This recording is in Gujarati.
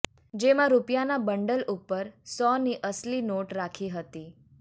જેમાં રૂપિયાના બંડલ ઉપર સોની અસલી નોટ રાખી હતી